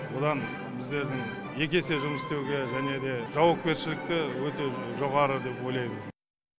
одан біздердің екі есе жұмыс істеуге және де жауапкершілікті өте жоғары деп ойлаймын